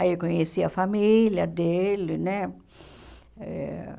Aí eu conheci a família dele, né? Eh